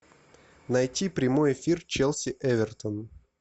найти прямой эфир челси эвертон